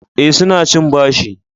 Eh, su na cin bashi